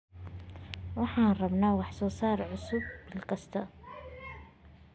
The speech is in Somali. Waxaan rabnaa wax soo saar cusub bil kasta.